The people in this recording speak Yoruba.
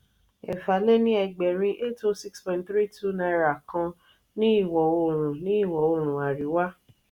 eefa-le-ni-egberin (₦806.32) kan ní ìwo-oòrùn ní ìwo-oòrùn àríwá.